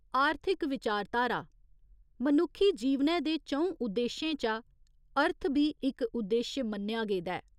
आर्थिक विचारधारा मनुक्खी जीवनै दे च'ऊं उद्देश्शें चा 'अर्थ' बी इक उद्देश्य मन्नेआ गेदा ऐ।